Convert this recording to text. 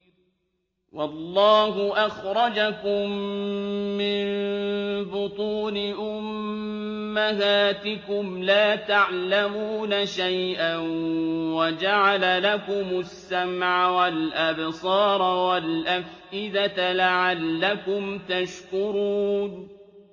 وَاللَّهُ أَخْرَجَكُم مِّن بُطُونِ أُمَّهَاتِكُمْ لَا تَعْلَمُونَ شَيْئًا وَجَعَلَ لَكُمُ السَّمْعَ وَالْأَبْصَارَ وَالْأَفْئِدَةَ ۙ لَعَلَّكُمْ تَشْكُرُونَ